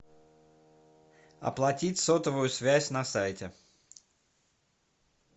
оплатить сотовую связь на сайте